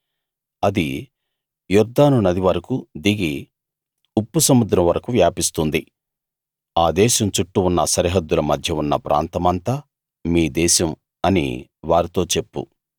అది యొర్దాను నది వరకూ దిగి ఉప్పు సముద్రం వరకూ వ్యాపిస్తుంది ఆ దేశం చుట్టూ ఉన్న సరిహద్దుల మధ్య ఉన్న ప్రాంతమంతా మీ దేశం అని వారితో చెప్పు